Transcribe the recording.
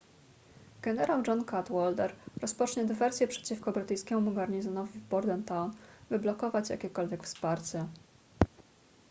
generał john cadwalder rozpocznie dywersję przeciwko brytyjskiemu garnizonowi w bordentown by blokować jakiekolwiek wsparcie